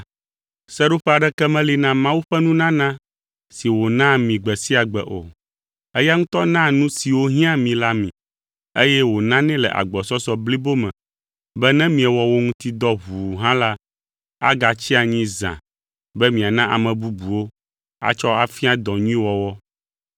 Seɖoƒe aɖeke meli na Mawu ƒe nunana si wònaa mi gbe sia gbe o. Eya ŋutɔ naa nu siwo hiãa mi la mi, eye wònanɛ le agbɔsɔsɔ blibo me be ne miewɔ wo ŋuti dɔ ʋuu hã la, agatsi anyi zã be miana ame bubuwo atsɔ afia dɔ nyui wɔwɔ.